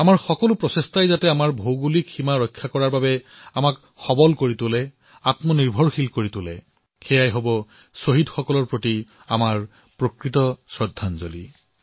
আমাৰ প্ৰতিটো প্ৰয়াস এই দিশতেই হব লাগিব যত সীমাৰ ৰক্ষাৰ বাবে দেশৰ শক্তি বৃদ্ধি হব দেশ অধিক সক্ষম হব দেশ আত্মনিৰ্ভৰ হব এয়াই হব আমাৰ শ্বহীদসকলৰ প্ৰতি প্ৰকৃত শ্ৰদ্ধাঞ্জলি